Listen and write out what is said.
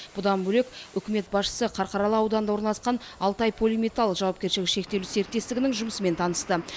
бұдан бөлек үкімет басшысы қарқаралы ауданында орналасқан алтай полиметал жауапкершілігі шектеулі серіктестігінің жұмысымен танысты